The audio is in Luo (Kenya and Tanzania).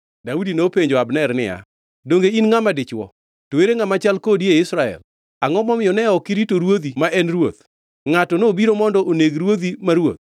Gima isetimo ok ber. Akwongʼora gi nying Jehova Nyasaye mangima ni in kod jogi uwinjoru gi tho, nikech ne ok urito ruodhu ma ngʼat Jehova Nyasaye mowir. Ranguru anena, ere tongʼ mar ruoth gi puga mar pi mane nitiere machiegni gi wiye?”